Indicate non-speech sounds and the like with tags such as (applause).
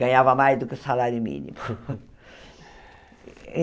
Ganhava mais do que o salário mínimo. (laughs)